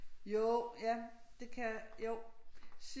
Jo ja det kan jo